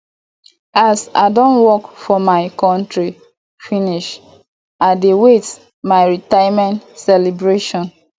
as i don work for my contri finish i dey wait my retirement celebration